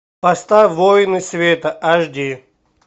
поставь воины света аш ди